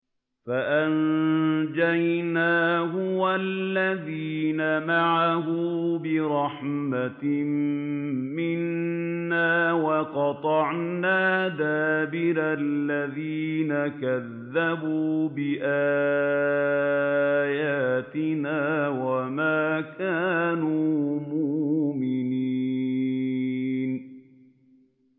فَأَنجَيْنَاهُ وَالَّذِينَ مَعَهُ بِرَحْمَةٍ مِّنَّا وَقَطَعْنَا دَابِرَ الَّذِينَ كَذَّبُوا بِآيَاتِنَا ۖ وَمَا كَانُوا مُؤْمِنِينَ